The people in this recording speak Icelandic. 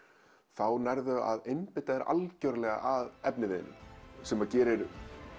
þá nærðu að einbeita þér algjörlega að efniviðnum sem gerir